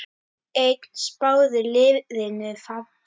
Einn spáði liðinu falli.